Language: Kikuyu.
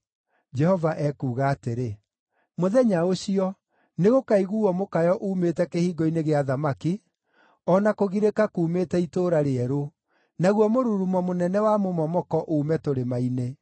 Jehova ekuuga atĩrĩ, “Mũthenya ũcio nĩgũkaiguuo mũkayo uumĩte Kĩhingo-inĩ gĩa Thamaki, o na kũgirĩka kuumĩte Itũũra Rĩerũ, naguo mũrurumo mũnene wa mũmomoko uume tũrĩma-inĩ.